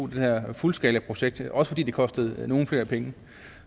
det her fuldskalaprojekt også fordi det koster nogle flere penge